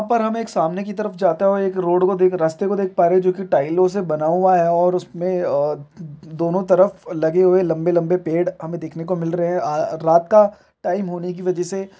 ऊपर हमें एक सामने की तरफ जाता हुआ एक रोड को देख रास्ते को देख पा रहे हैं जो कि टाइलों से बना हुआ है और अ उसमें अ दोनों तरफ लगे हु वे है लम्बे लम्बे पड़े हमें दखने को मिल रहे है अ रात का टाइम होने की वजह से--